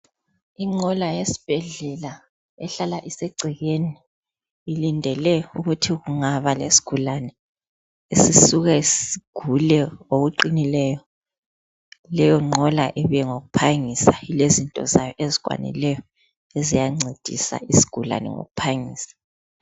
Inqola yesibhedlela ehlala isegcekeni ilindele ukuthi kungaba lesigulane sisuke sigule ngokuqinileyo leyo nqola ibe ngeyokuphangisa lezinto zayo ezikwanileyo eziyancedisa izigulane ngokuphangisa.